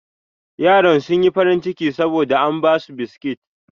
Yaran sun yi farin ciki saboda an ba su biskit.